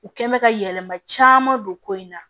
U kɛ mɛ ka yɛlɛma caman don ko in na